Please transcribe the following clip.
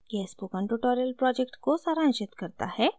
यह spoken tutorial project को सारांशित करता है